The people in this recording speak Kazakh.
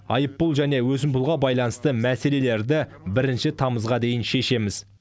айыппұл және өсімпұлға байланысты мәселелерді бірінші тамызға дейін шешеміз